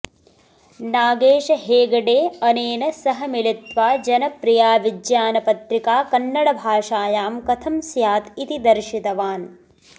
नागेश हेगडे अनेन सह मिलित्वा जनप्रिया विज्ञानपत्रिका कन्नडभाषायां कथं स्यात् इति दर्शितवान्